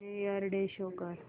new year day show कर